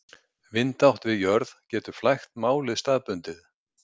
Vindátt við jörð getur flækt málið staðbundið.